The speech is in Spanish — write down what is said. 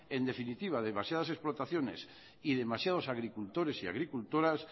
en definitiva demasiadas explotaciones y demasiados agricultores y agricultoras